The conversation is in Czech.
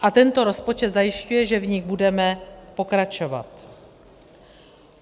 A tento rozpočet zajišťuje, že v nich budeme pokračovat.